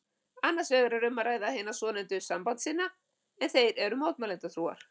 Annars vegar er um að ræða hina svonefndu sambandssinna en þeir eru mótmælendatrúar.